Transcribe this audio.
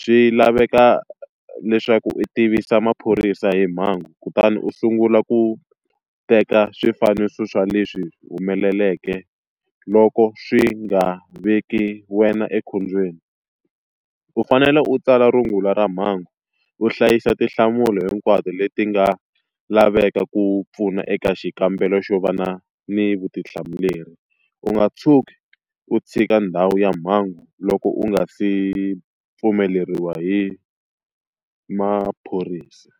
Swi laveka leswaku u tivisa maphorisa hi mhangu kutani u sungula ku teka swifaniso swa leswi humeleleke loko swi nga veki wena ekhombyeni. U fanele u tsala rungula ra mhangu, u hlayisa tinhlamulo hinkwato leti nga laveka ku pfuna eka xikambelo xo va na ni vutihlamuleri, u nga tshuki u tshika ndhawu ya mhangu loko u nga se pfumeleriwa hi maphorisa.